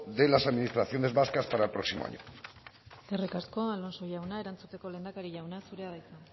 de las administraciones vascas para el próximo año eskerrik asko alonso jauna erantzuteko lehendakari jauna zurea da hitza